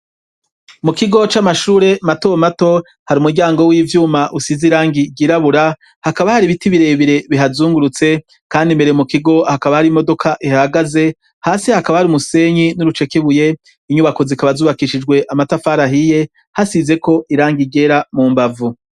Mu kigo c'amashure mato mato hari umuryango w'ivyuma usize irangi ryirabura, hakaba hari ibiti birebire bihazungurutse, kandi imbere mu kigo hakaba hari imodoka ihahagaze; hasi hakaba hari umusenyi n'urucekebuye. Inyubako zikaba zubakishijwe amatafari ahiye hasizeko irangi ryera mu mbavu.